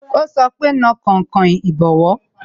Ó sọ pé "Na kainkain ìbọwọ́"